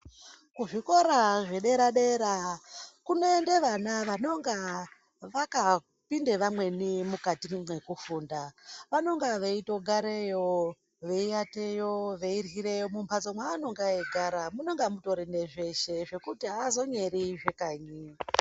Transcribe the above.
Kuzvikora zvedera dera kunoende vana vanonga vakapinde vamweni mukati mwe nguva yekufunda, vanonga veitogareyo, veiateyo, veiryireyo mumhatso mwaanenge eitogara munenge mune zveshe zvekuti aazonyeri zvekanyi.